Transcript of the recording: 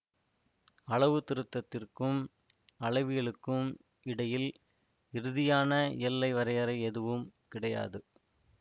அளவுத்திருத்தத்திற்கும் அளவியலுக்கும் இடையில் இறுதியான எல்லை வரையறை எதுவும் கிடையாது